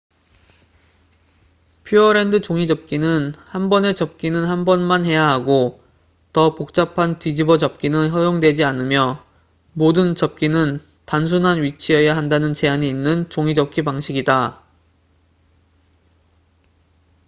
퓨어랜드 종이접기는 한 번에 접기는 한 번만 해야 하고 더 복잡한 뒤집어 접기는 허용되지 않으며 모든 접기는 단순한 위치여야 한다는 제한이 있는 종이접기 방식이다